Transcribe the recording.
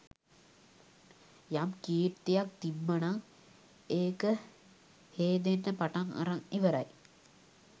යම් කීර්තියක් තිබ්බනම් ඒක හේදෙන්න පටන් අරන් ඉවරයි